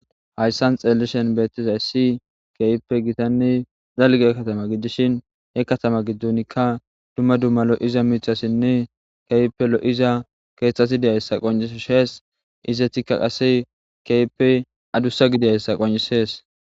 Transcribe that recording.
Hayssan xeellishen beettizayssi keehippe gitanne dalge katama gidishin he katama giddonikka dumma dumma lo7iza miixasinne keypelo7iza keeththati deyayssa qoncishees izetikka qase keype adussa gidiyayssa qoncisees.